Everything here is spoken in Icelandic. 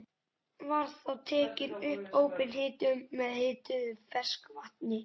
Var þá tekin upp óbein hitun með upphituðu ferskvatni.